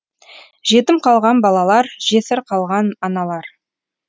жетім қалған балалар жесір қалған аналар